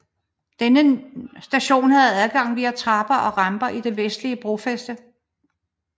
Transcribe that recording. Denne station havde adgang via trapper og ramper i det vestlige brofæste